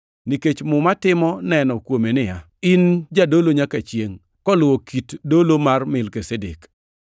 Nikech Muma timo neno kuome niya, “In Jadolo nyaka chiengʼ koluwo kit dolo mar Melkizedek.” + 7:17 \+xt Zab 110:4\+xt*